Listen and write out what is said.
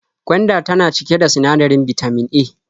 Gwanda tana cike da sinadarin bitamin A.